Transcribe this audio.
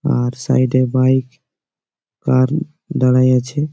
আর side - এ bike car দাঁড়ায়াছে ।